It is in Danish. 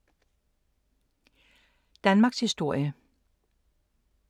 Danmarkshistorie